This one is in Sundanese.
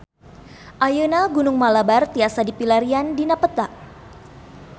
Ayeuna Gunung Malabar tiasa dipilarian dina peta